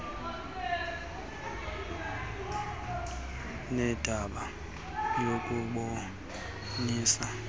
nendaba yokubonisana nokusa